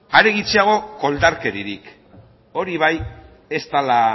are gutxiago koldarkeriarik hori bai ez dela